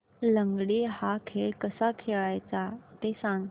लंगडी हा खेळ कसा खेळाचा ते सांग